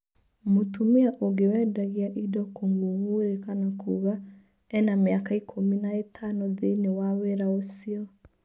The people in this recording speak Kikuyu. Mũtumia ũngĩ wendagia indo kũng'ũng'ũrĩka na kuga ena mĩaka ikũmi na ĩtano thĩiniĩ wa wĩra ũcio.